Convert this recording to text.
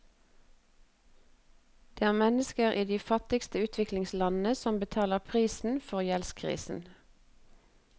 Det er mennesker i de fattigste utviklingslandene som betaler prisen for gjeldskrisen.